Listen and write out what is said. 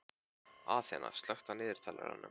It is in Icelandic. Aþena, slökktu á niðurteljaranum.